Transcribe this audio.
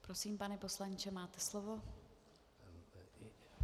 Prosím, pane poslanče, máte slovo.